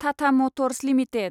Tata motors limited